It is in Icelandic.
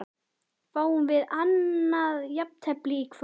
Fáum við annað jafntefli í kvöld?